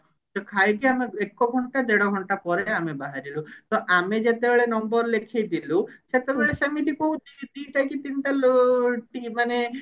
ତ ଖାଇକି ଏକ ଘଣ୍ଟା ଦେଢ ଘଣ୍ଟା ପରେ ଆମେ ବାହାରିଲୁ ତ ଆମେ ଯେତେବେଳେ number ଲେଖେଇ ଥିଲୁ ସେତେବେଳେ ସେମିତି କୋଉ ଦି ଦିଟା କି ତିନିଟା ଲୋ ମାନେ